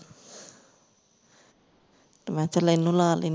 ਤੇ ਮੈਂ ਕਿਹਾ ਚਲ ਇਹਨੂੰ ਲਾ ਲੈਂਦੇ ਹਾਂ